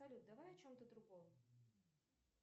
салют давай о чем то другом